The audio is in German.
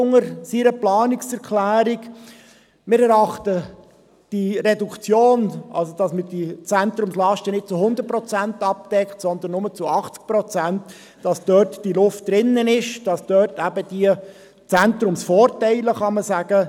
Zur Planungserklärung Freudiger: Wir haben tatsächlich die Vermutung, es sei eine verkappte Reitschuldebatte.